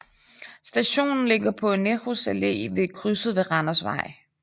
Stationen ligger på Nehrus Allé ved krydset med Randersvej